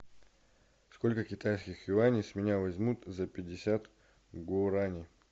сколько китайских юаней с меня возьмут за пятьдесят гурани